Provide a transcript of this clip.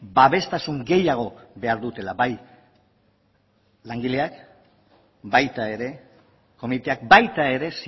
babestasun gehiago behar dutela bai langileak baita ere komiteak baita ere